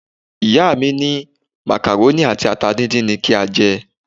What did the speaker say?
Ìyá mi ní macaroni àti ata díndín ni kí a jẹ.